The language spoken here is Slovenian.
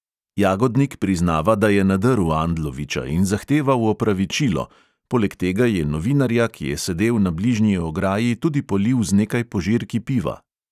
Jagodnik priznava, da je nadrl andloviča in zahteval opravičilo, poleg tega je novinarja, ki je sedel na bližnji ograji, tudi polil z nekaj požirki piva.